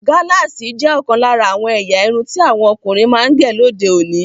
Galasi jẹ́ òkan lára àwọn èyà ìrún tí àwọn ọkùnrin máa ń gẹ́ lódè òní.